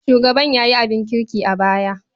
Shugaban ya yi abin kirki a baya.